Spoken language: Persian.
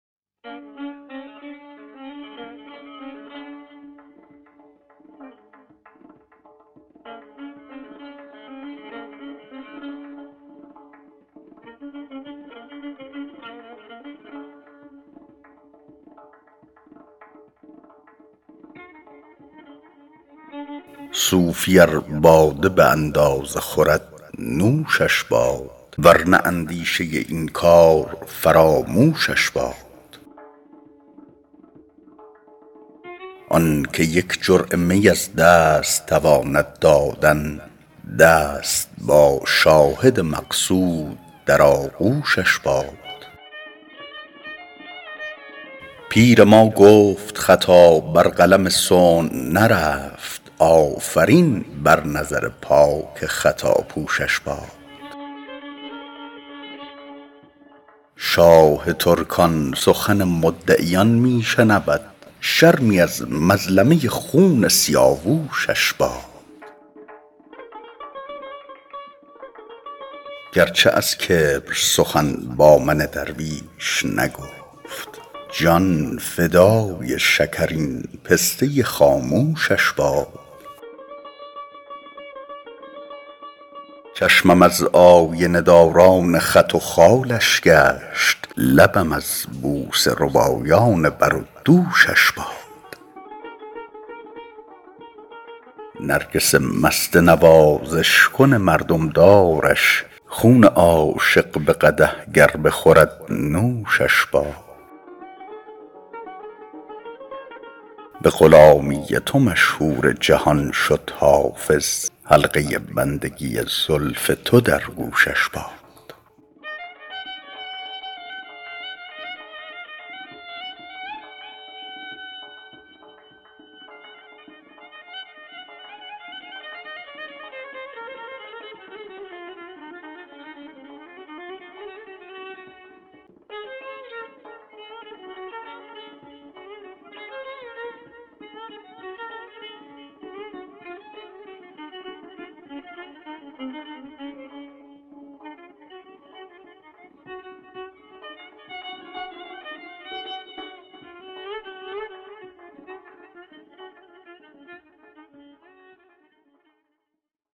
صوفی ار باده به اندازه خورد نوشش باد ور نه اندیشه این کار فراموشش باد آن که یک جرعه می از دست تواند دادن دست با شاهد مقصود در آغوشش باد پیر ما گفت خطا بر قلم صنع نرفت آفرین بر نظر پاک خطاپوشش باد شاه ترکان سخن مدعیان می شنود شرمی از مظلمه خون سیاوشش باد گر چه از کبر سخن با من درویش نگفت جان فدای شکرین پسته خاموشش باد چشمم از آینه داران خط و خالش گشت لبم از بوسه ربایان بر و دوشش باد نرگس مست نوازش کن مردم دارش خون عاشق به قدح گر بخورد نوشش باد به غلامی تو مشهور جهان شد حافظ حلقه بندگی زلف تو در گوشش باد